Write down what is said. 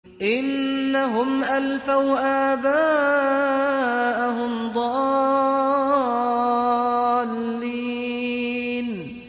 إِنَّهُمْ أَلْفَوْا آبَاءَهُمْ ضَالِّينَ